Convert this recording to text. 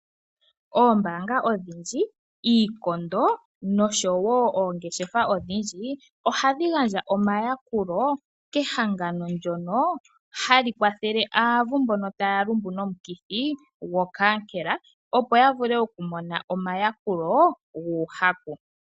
Oombanga odhindji, iikondo noshowo oongeshefa odhindji ohadhi gandja omayakulo kehangano ndyono halikwathele aavu mbono taalumbu nomukithi gokaankela, opo ya vule okumona omayakulo guuhaku.